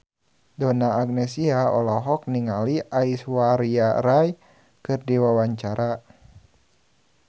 Donna Agnesia olohok ningali Aishwarya Rai keur diwawancara